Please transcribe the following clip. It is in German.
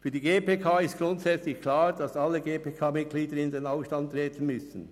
Für die GPK ist grundsätzlich klar, dass alle GPK-Mitglieder in den Ausstand treten müssen.